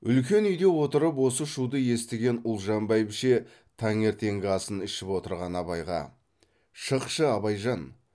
үлкен үйде отырып осы шуды естіген ұлжан бәйбіше таңертеңгі асын ішіп отырған абайға шықшы абайжан